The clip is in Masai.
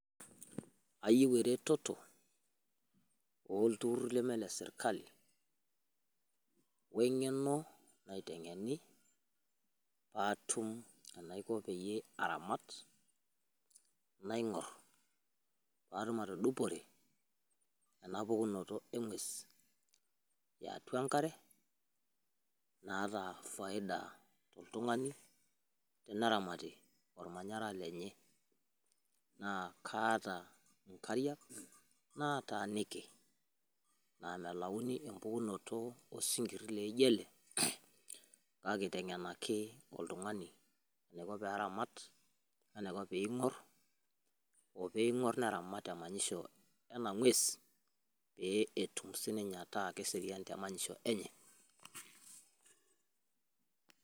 ayieu eretoto ooltururi leme le sirkali, we ng'eno, naiteng'eni paatum enaiko peyie aramat, naing'or, natum atudupore ena pukunoto eng'ues yeatua enkare, naata faida oltungani teneramati, olmanyara lenye. naa kaata nkariak naataniki. naa melauni empukunoto osinkiri laijo ele. kake eitengenaki oltungani eneiko pee eramat. pee eingor neramat emanyisho ena ng'ues, pee etum sii ninye ataa keserian.